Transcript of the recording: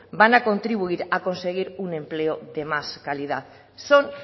van a contribuir a conseguir un empleo de más calidad son